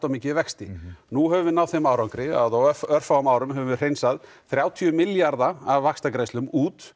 mikið í vexti nú höfum við náð þeim árangri að á örfáum árum höfum við hreinsað þrjátíu milljarða af vaxtagreiðslum út